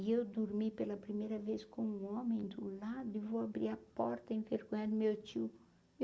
E eu dormi pela primeira vez com um homem do lado e vou abrir a porta meu tio.